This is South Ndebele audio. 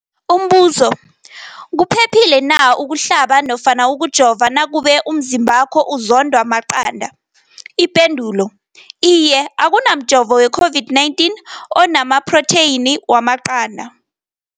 Umbuzo, kuphephile na ukuhlaba nofana ukujova nakube umzimbakho uzondwa maqanda. Ipendulo, Iye. Akuna mjovo we-COVID-19 ona maphrotheyini wamaqanda.